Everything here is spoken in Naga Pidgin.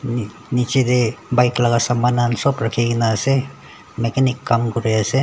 niche te bike laga soman khan sab rakhi kena ase mechanic kam kori ase.